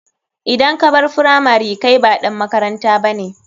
Idan kabar firamari kai ba ɗan makaranta bane.